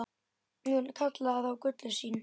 Hún kallaði þá gullin sín.